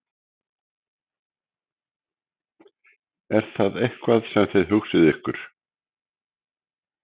Er það eitthvað sem þið hugsið ykkur?